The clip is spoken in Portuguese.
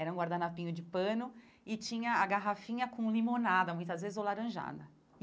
Era um guardanapinho de pano e tinha a garrafinha com limonada, muitas vezes ou laranjada.